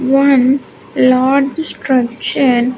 One large structure.